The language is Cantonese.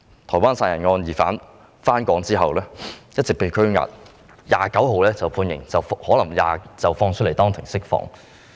台灣殺人案的疑犯回港後一直被拘押，本月29日判刑，可能會當庭獲釋。